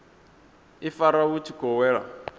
ifara vhu tshi khou wela